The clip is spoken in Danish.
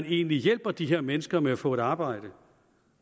egentlig hjælper de her mennesker med at få et arbejde